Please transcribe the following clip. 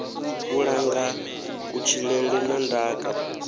u langa kutshilele na ndaka